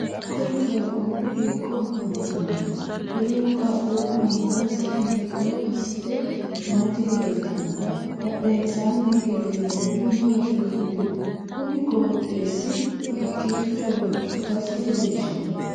Kuri qaaquulu hiiko afantano? Qoleno qaaquulu angansa hiitto asite nooti leeltano? Badhensaanni hige leellanori maatiro kuli? Kunni qooxeesi hiikicho ikasi leelishano?